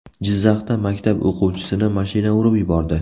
Jizzaxda maktab o‘quvchisini mashina urib yubordi.